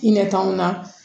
I ɲɛ t'anw na